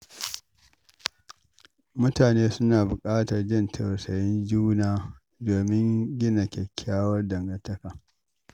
Mutane suna buƙatar jin tausayin juna domin gina kyakkyawan dangantaka.